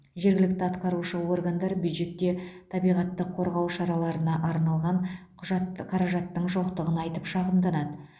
жергілікті атқарушы органдар бюджетте табиғатты қорғау шараларына арналған құжатты қаражаттың жоқтығын айтып шағымданады